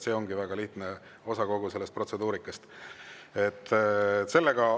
See ongi väga lihtne osa kogu sellest protseduurikast.